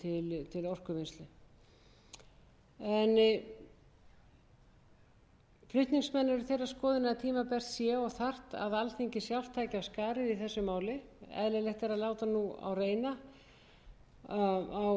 að tímabært sé og þarft að alþingi sjálft taki af skarið í þessu máli eðlilegt er að láta nú reyna á